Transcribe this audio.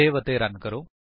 save ਅਤੇ run ਕਰੋ